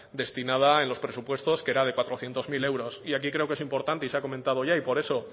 destinada en los presupuestos que era de cuatrocientos mil euros y aquí creo que es importante y se ha comentado ya y por eso